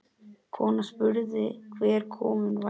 Konan spurði hver kominn væri.